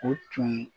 O tun